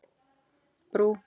Brú